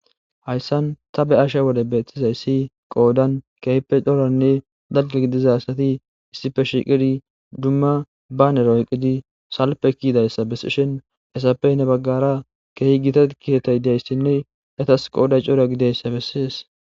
hayssan ta be7asha wode beettizay asi qoodan kehippe coranne dalga gidiza sati issife shiqidi dumma baanere Oykkidi salppe kiidayssa bessishin ezappe Hennni baggara keehi gita keeththay diyassinne etas qooday cora gidiyayssa besses